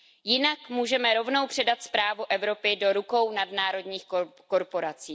Jinak můžeme rovnou předat správu Evropy do rukou nadnárodních korporací.